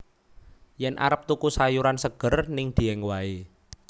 Yen arep tuku sayuran seger ning Dieng wae